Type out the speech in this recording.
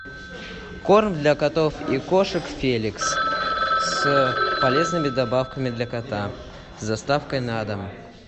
корм для котов и кошек феликс с полезными добавками для кота с доставкой на дом